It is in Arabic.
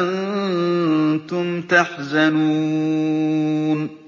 أَنتُمْ تَحْزَنُونَ